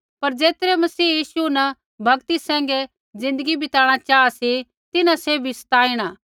पर ज़ेतरै मसीह यीशु न भक्ति सैंघै ज़िन्दगी बिताणा चाहा सी तिन्हां सैभी सताइणा